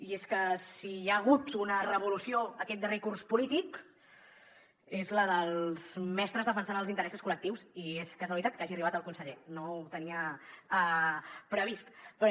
i és que si hi ha hagut una revolució aquest darrer curs polític és la dels mestres defensant els interessos col·lectius i és casualitat que hagi arribat el conseller no ho tenia previst però